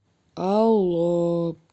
алло